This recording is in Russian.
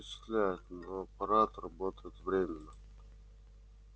это впечатляет но аппарат работает временно